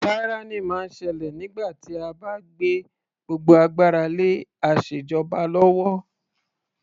Tyranny máa ń ṣẹlẹ̀ nígbà tí a bá gbé gbogbo agbára lé asèjọba lọ́wọ́.